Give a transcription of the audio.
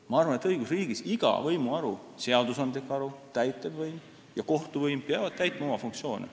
Ma arvan, et õigusriigis peab iga võimuharu – seadusandlik haru, täitevvõim ja kohtuvõim – täitma oma funktsiooni.